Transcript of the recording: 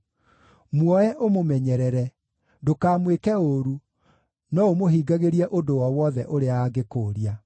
“Muoe ũmũmenyerere; ndũkamwĩke ũũru, no ũmũhingagĩrie ũndũ o wothe ũrĩa angĩkũũria.”